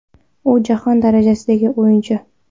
U jahon darajasidagi o‘yinchi.